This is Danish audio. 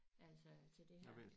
Altså til det her